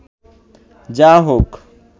যা হোক